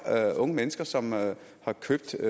er der unge mennesker som har købt